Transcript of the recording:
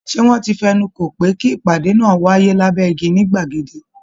Ṣé wọ́n ti fẹnu kò pé kí ìpàdé náà wáyé lábẹ́ igi ní gbàgede?